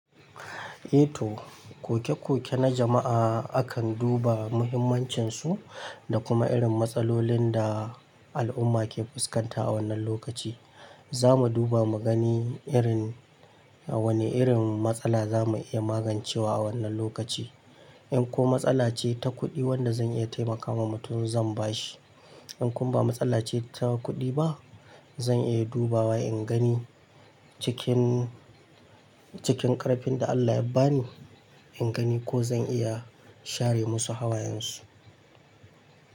Eh to, koke-koke na jama'a akan duba muhimmancinsu da kuma irin matsalolin da al'umma ke fuskanta a wannan lokaci. Za mu duba mu gani irin wane irin matsala za mu iya magancewa a wannan lokaci. In ko matsala ce ta kuɗi wanda zan iya taimakawa mutum zan bashi. In kun ba matsala ce ta kuɗi ba, zan iya dubawa in gani cikin, cikin ƙarfin da Allah ya ba ni, in gani ko zan iya share musu hawayensu.